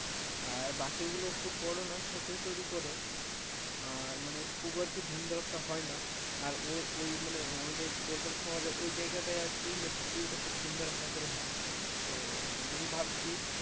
আর বাকিগুলো খুব বড় নয় ছোটই তৈরি করে আর মানে খুব একটা ধুম ধারাক্কা হয় না আর ওই আমারে কলকাতা শহরের ওই জায়গাটায় আর কি লক্ষ্মী পুজো টা খুব ধুম ধাড়াক্কা করে হয় তো আমি ভাবছি,